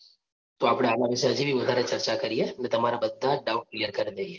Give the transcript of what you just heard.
તો આપણે આના વિશે હજી વધારે ચર્ચા કરીએ અને તમારા બધા જ doubt clear કરી દઈએ.